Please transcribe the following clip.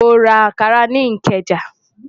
Mo ra Ànkarà ni Ikeja.